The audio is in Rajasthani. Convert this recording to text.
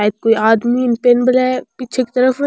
सायद कोई आदमी पेन मेला है पीछे की तरफ --